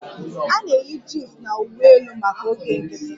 A na-eyi jins na uwe elu maka oge nkiti